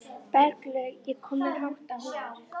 Berglaug, ég kom með átta húfur!